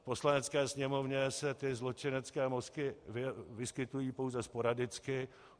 V Poslanecké sněmovně se ty zločinecké mozky vyskytují pouze sporadicky.